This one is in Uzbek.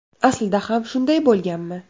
Aslida ham shunday bo‘lganmi?